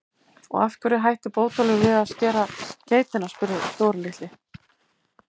Og af hverju hætti Bótólfur við að skera geitina? spurði Dóri litli.